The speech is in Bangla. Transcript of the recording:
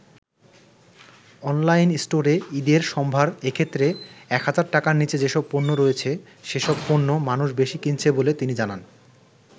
অনলাইন স্টোরে ঈদের সম্ভার এক্ষেত্রে ১০০০ টাকার নিচে যেসব পণ্য রয়েছে সেসব পণ্য মানুষ বেশি কিনছে বলে তিনি জানান।